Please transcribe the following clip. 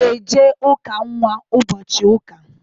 I ga-eje ụka nnwa ụbọchị Ụka!